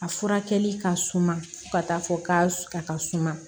A furakɛli ka suma fo ka taa fɔ k'a ka suma